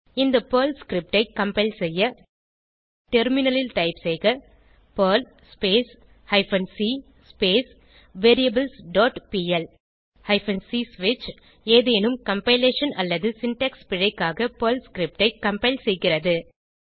இந்த perl script ஐ compile செய்ய டெர்மினிலில் டைப் செய்கperl hyphen C variables dot PL hyphen C ஸ்விட்ச் ஏதேனும் கம்பைலேஷன் அல்லது சின்டாக்ஸ் பிழைக்காக பெர்ல் ஸ்கிரிப்ட் ஐ கம்பைல் செய்கிறது